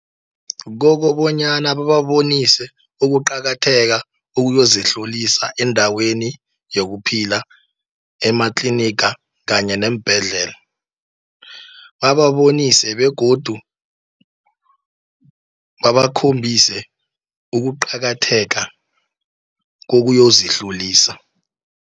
Kokobonyana bababonise ukuqakatheka ukuyozihlolisa endaweni yokuphila, ematliniga kanye neembhedlela. Bababonise, begodu babakhombise ukuqakatheka kokuyozihlolisa.